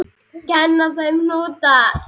Kenna þeim hnúta?